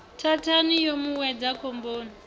thathani yo mu wedza khomboni